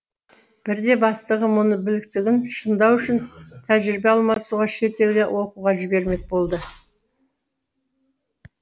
бірде бастығы мұны біліктілігін шыңдау үшін тәжірибе алмасуға шетелге оқуға жібермек болды